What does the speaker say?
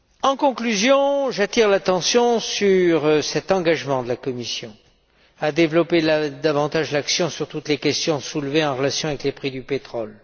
En conclusion, j'attire l'attention sur l'engagement de la Commission de développer davantage l'action sur toutes les questions soulevées en relation avec les prix du pétrole.